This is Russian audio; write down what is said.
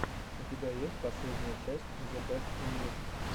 у тебя есть последняя часть зебестньюс